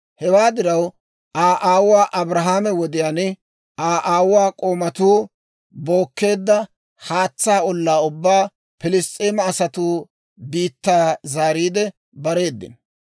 Hewaa diraw, Aa aawuwaa Abrahaame wodiyaan, Aa aawuwaa k'oomatuu bookkeedda haatsaa ollaa ubbaa Pilss's'eema asatuwaa biittaa zaariide bareedino.